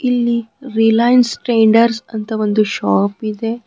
ಇಲ್ಲಿ Reliance Traders ಅಂತ ಒಂದು ಶಾಪ್ ಇದೆ.